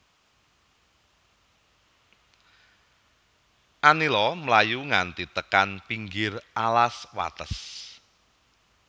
Anila mlayu nganti tekan pinggir alas wates